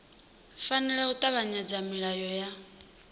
fanela u tevhedzela milayo ya